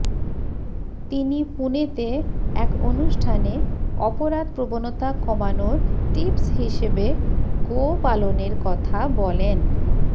তিনি পুনেতে এক অনুষ্ঠানে অপরাধ প্রবণতা কমানোর টিপস হিসেবে গোপালনের কথা বলেন